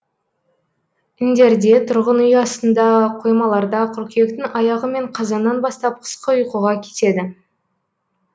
індерде тұрғын үй астында қоймаларда қыркүйектің аяғы мен қазаннан бастап қысқы ұйқыға кетеді